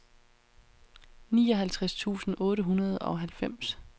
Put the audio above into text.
nioghalvtreds tusind otte hundrede og halvfems